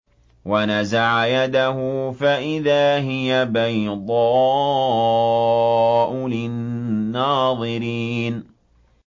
وَنَزَعَ يَدَهُ فَإِذَا هِيَ بَيْضَاءُ لِلنَّاظِرِينَ